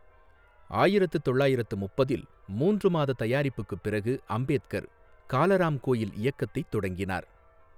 ஆயிரத்து தொள்ளாயிரத்து முப்பதில், மூன்று மாத தயாரிப்புக்குப் பிறகு அம்பேத்கர் காலராம் கோயில் இயக்கத்தைத் தொடங்கினார்.